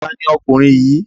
Ta ni ọkùnrin yìí?